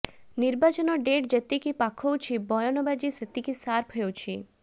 ନିର୍ବାଚନ ଡେଟ୍ ଯେତିକି ପାଖଉଛି ବୟାନବାଜି ସେତିକି ସାର୍ପ ହେଉଛି